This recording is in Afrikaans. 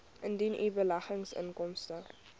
indien u beleggingsinkomste